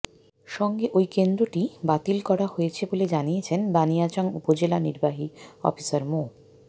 সঙ্গে ওই কেন্দ্রটি বাতিল করা হয়েছে বলে জানিয়েছেন বানিয়াচং উপজেলা নির্বাহী অফিসার মো